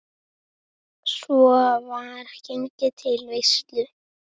Svo var gengið til veislu.